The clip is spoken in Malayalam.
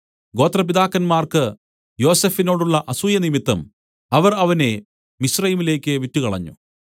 ഗോത്രപിതാക്കന്മാർക്ക് യോസഫിനോടുള്ള അസൂയനിമിത്തം അവർ അവനെ മിസ്രയീമിലേക്ക് വിറ്റുകളഞ്ഞു